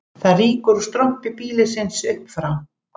Það rýkur úr strompi býlisins upp frá